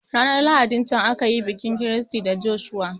Ranar lahadin can akayi bikin Christy da Joshua